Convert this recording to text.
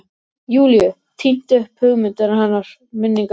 Júlíu, tínt upp hugmyndir hennar, minningar, drauma.